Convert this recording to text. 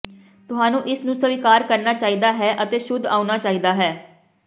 ਤੁਹਾਨੂੰ ਇਸ ਨੂੰ ਸਵੀਕਾਰ ਕਰਨਾ ਚਾਹੀਦਾ ਹੈ ਅਤੇ ਸ਼ੁੱਧ ਆਉਣਾ ਚਾਹੀਦਾ ਹੈ